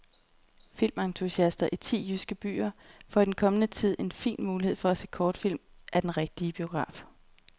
Filmentusiaster i ti jyske byer får i den kommende tid en fin mulighed for at se kortfilm i den rigtige biograf.